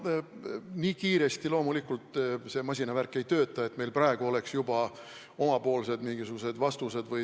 No nii kiiresti loomulikult see masinavärk ei tööta, et meil oleks juba mingisugused omapoolsed lahendused.